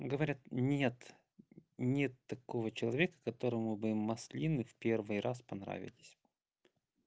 говорят нет нет такого человека которому бы маслины в первый раз понравились